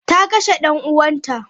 Ta kashe dan uwanta.